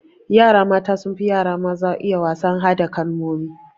Yara mata sunfi yara maza iya wasan hada kalmomi